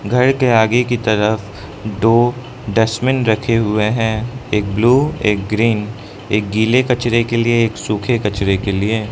घर के आगे की तरफ दो डस्टबिन रखे हुए हैं एक ब्लू एक ग्रीन एक गीले कचरे के लिए एक सूखे कचरे के लिए।